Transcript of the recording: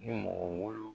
Ni mɔgɔ wolon